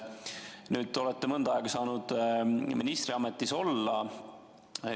Nüüd te olete mõnda aega saanud ministriametis olla.